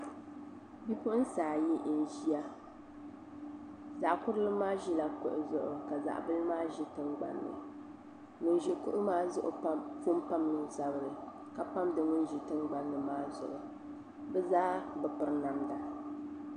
Bipuɣunsi ayi n ʒiya zaɣ kurili maa ʒila kuɣu zuɣu ka zaɣ bili maa ʒi tingbanni ŋun ʒi kuɣu maa zuɣu pun pamla o zabiri ka pamdi ŋun ʒi tingbanni maa zuɣu bi zaa bi piri namda